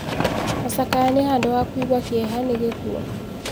Macakaya nĩ handũ ha kũigua kĩeha nĩ gĩkuo.